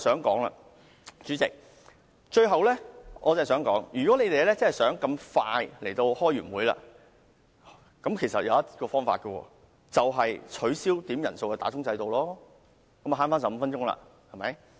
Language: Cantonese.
代理主席，我最後想說的是，要是你們真的想那麼快便完會，其實有一個方法，便是取消點算法定人數的制度，這樣便能省回15分鐘了，對嗎？